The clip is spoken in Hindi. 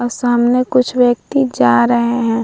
अ सामने कुछ व्यक्ति जा रहे हैं।